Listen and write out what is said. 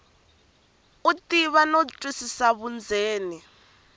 u tiva no twisisa vundzeni